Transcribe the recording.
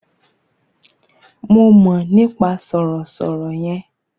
Mo mọ̀ nípa sọ̀rọ̀ sọ̀rọ̀ yẹn.